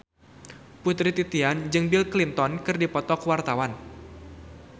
Putri Titian jeung Bill Clinton keur dipoto ku wartawan